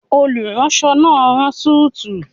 Olùránsọ náà n rán súùtù